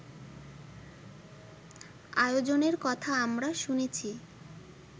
আয়োজনের কথা আমরা শুনেছি